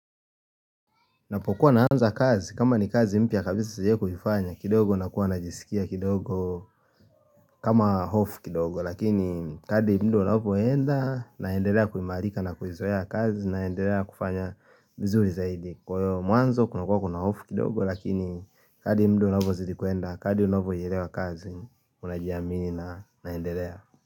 Napokuwa naanza kazi, kama ni kazi mpya kabisa sijai kuifanya, kidogo nakuwa najisikia kidogo kama hofu kidogo, lakini kadri hapo ninapoenda, naendelea kuimarika na kuizoea kazi, naendelea kufanya vizuri zaidi. Kwa hivyo mwanzo kunakua kuna hofu kidogo, lakini kadri muda unavyozidi kuenda, kadri unavyoielewa kazi, unajiamini na naendelea.